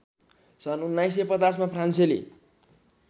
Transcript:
सन् १९५० मा फ्रान्सेली